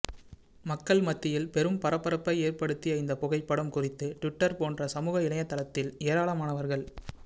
மக்கள் மத்தியில் பெரும் பாபரப்பை ஏற்படுத்திய இந்த புகைப்படம் குறித்து டிவிட்டர் போன்ற சமூக இணையதளத்தில் ஏராளமானவர்கள்